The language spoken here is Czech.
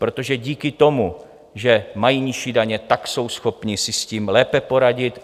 Protože díky tomu, že mají nižší daně, tak jsou schopni si s tím lépe poradit.